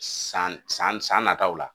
San san san san nataw la